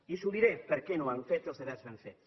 i els diré per què no han fet els deures ben fets